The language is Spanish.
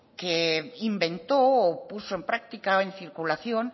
que inventó o puso en práctica en circulación